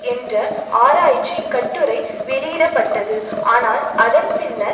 என்ற ஆராய்ச்சிக் கட்டுரை வெளியிட பட்டது ஆனால் அதன் பின்னர்